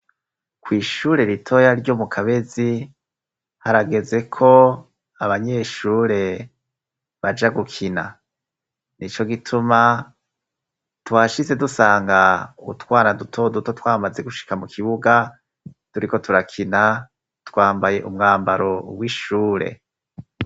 Kw'shure ritoya ryo mu Kabezi harageze ko abanyeshure baja gukina. Nico gituma, twashitse dusanga utwana dutoduto twamaze gushika mu kibuga turiko turakina, twambaye umwambaro w'ishure.